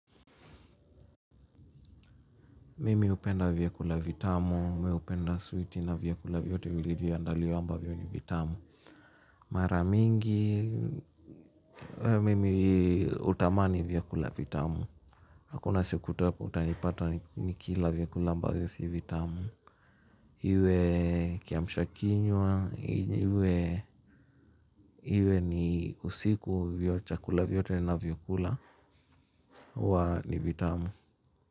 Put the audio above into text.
Mimi hupenda vyakula vitamu, mimi hupenda sweet na vyakula vyote ambavyo vinaandaliwa ambavyo ni vitamu. Mara mingi mimi hutamani vyakula vitamu hakuna siku utanipata, nikila vyakula ambavyo si vitamu. Iwe kiamsha kinywa, iwe ni usiku, vyakula vyote ninavyokula huwa ni vitamu.